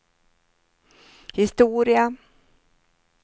historia